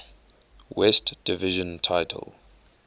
west division title